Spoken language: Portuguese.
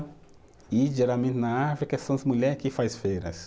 E geralmente na África são as mulher que faz feiras.